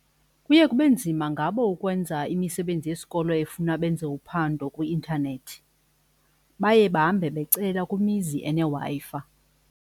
Kuye kube nzima ngabo ukwenza imisebenzi yesikolo efuna benze uphando kwi-intanethi baye bahambe becela kwimizi eneWi-Fi.